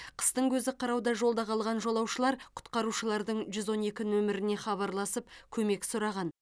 қыстың көзі қырауда жолда қалған жолаушылар құтқарушылардың жүз он екі нөміріне хабарласып көмек сұраған